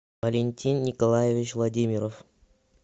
валентин николаевич владимиров